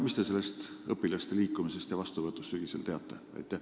Mis te sellest õpilaste liikumisest ja sügisesest vastuvõtust teate?